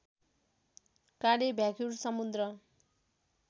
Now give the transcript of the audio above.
काँडे भ्याकुर समुद्र